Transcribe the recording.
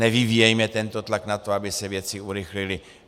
Nevyvíjejme tento tlak na to, aby se věci urychlily!